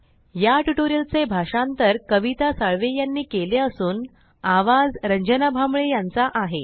या ट्यूटोरियल चे भाषांतर कविता साळवे यांनी केले असून आवाज रंजना भांबळे यांचा आहे